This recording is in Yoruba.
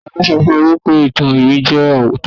talo so fun e wipe ìtàn iwin je ootọ ọrọ